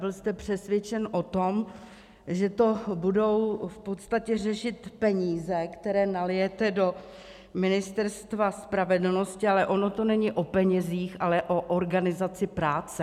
Byl jste přesvědčen o tom, že to budou v podstatě řešit peníze, které nalijete do Ministerstva spravedlnosti, ale ono to není o penězích, ale o organizaci práce.